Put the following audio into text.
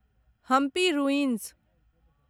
Hampi ruins